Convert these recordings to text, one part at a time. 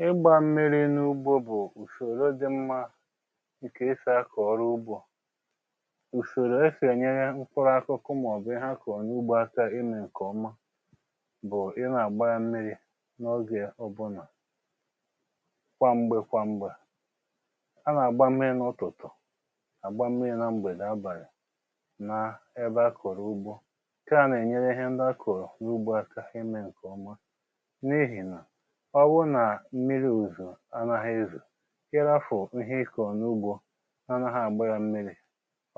ḷgbȧ mmiri n’ugbȯ bụ̀ ùsòrò dị mmȧ nke esì akọ̀ ọrụ ugbȯ. Usòrò esì ènyere mkpụrụ akụkụ mà-ọ̀bụ̀ ihe akọ̀ọ̀ n’ugbȯ aka imė ǹkè ọma bụ̀ ị nà-àgbà ya mmiri̇ n’oge ọbụnà. Kwa m̀gbè kwa m̀gbè a nà-àgba mmiri̇ n’ụtụtụ àgba mmiri̇ na mgbèdè abàlị̀ nà ebe akọ̀rọ̀ ugbȯ. Nkè a nà-ènyere ihe ndị akọ̀rọ̀ n’ugbȯ aka imė ǹkè ọma. N’ihi na ọbụrụ nà mmiri̇ ozuzo anȧghị̇ ezo, ihȧfụ ihe ikọ̀ n’ugbȯ n’anaha àgbara mmiri̇,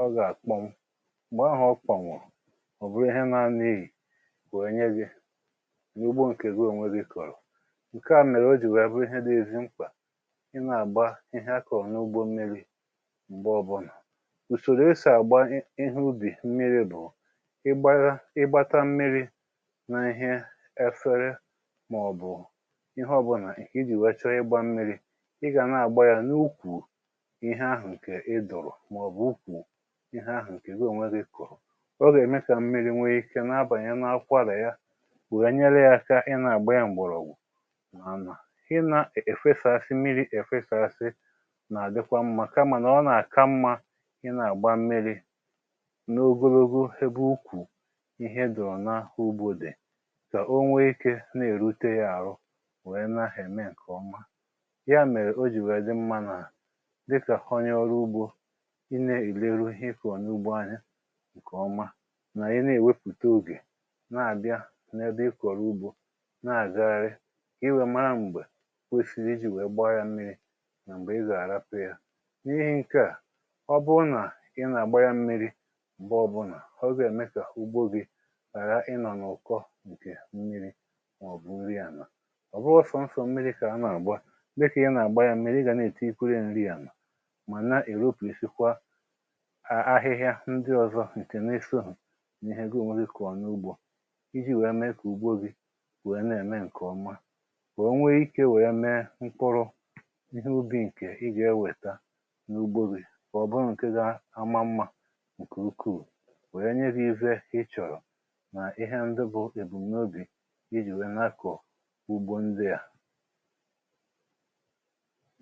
ọ gà-àkpọnwụ m̀gbè ahụ ọ kpọ̀nwụ, ọ bụrụ ihe nȧanị iyì weè nye gị na ugbo ǹkè gị onwe gị kọ̀rọ̀. Nke à mèrè o jì wèè bụ ihe dị ezi mkpà ị nà-àgba ihe akà ọ̀ n’ugbo mmiri̇ m̀gbe ọbụnà. Usòrò esì àgba ihe ubì mmiri̇ bụ̀ ịgbara ịgbata mmiri̇ nà ihe efere mà ọ̀bụ̀ ihe ọ̀bụnà iji̇ weẹ chọ ịgbȧ mmiri̇, ị gà nà-àgba yȧ n’ukwù ihe ahụ̀ ǹkè ịdọ̀rọ̀ mà ọ̀bụ̀ ukwù ihe ahụ̀ ǹkè gị ònwe gị kụ̀rụ̀. Ọ gà-ème kà mmiri̇ nwee ike n’abànyè na-akwȧrà ya wèè nyere ya aka ị nà-àgba yȧ m̀gbọ̀rọ̀ ọ̀gwụ. Mànà ị nà-èfesàsị mmiri̇ èfesàsị nà-àdịkwa mmȧ kamà nà ọ nà-àka mmȧ ị nà-àgba mmiri̇ n’ogologo ebe ukwù ihe dọ̀rọ̀ n’ahụ̇ ugbo dị kà o nwee ike na-èrute yȧ àrụ wee na eme nke ọma. Ya mèrè o jì wèe dị mmȧ nà dịkà onye ọrụ ugbȯ, ị na-èleru ihe ị kọọ̀ n’ugbo anya ǹkè oma nà ị na-èwepụ̀ta ogè na-àbịa n’ebe ịkọ̀rọ̀ ugbȯ na-àgagharị ka I weè mara m̀gbè kwesiri ijì wèe gbaa ya mmiri mà m̀gbè ị gà-àrapụ̀ ya. N’ihi ǹke à, ọ bụrụ nà ị nà-àgba ya mmiri m̀gbe ọbụnà, ọ gà eme ka ugbo gị hara ịnọ̀ n’ụ̀kọ ǹkè mmiri mà ọbụ̀ nri ànà. Ọ bụghị sọọsọ mmiri ka a na agba, dịka ị n’agba ya mmirir ị ga n’etikwere ya nri ala ma n’ewepụshịkwa a ahịhịa ndi ọzọ nke n’esohụ̀ n’ihe ihe gị onwe gị kọ̀ọ̀ n’ugbo iji̇ wèe mee kà ugbo gị wèe na-ème ǹkè ọma. Ka onwe ikė wèe mee mkpụrụ ihe ubi̇ ǹkè ị gà-ewèta n’ugbȯ gị. Kà ọ̀ bụrụ ǹkè ga amà mmȧ ǹkè ukwuu wèe nye gị ihe ị chọ̀rọ̀ nà ihe ndi bụ̇ èbù m n’obì iji wee n’akọ ugbo ndị a